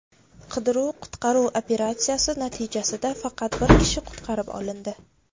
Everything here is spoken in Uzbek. Qidiruv-qutqaruv operatsiyasi natijasida faqat bir kishi qutqarib olindi.